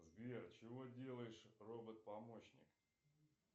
сбер чего делаешь робот помощник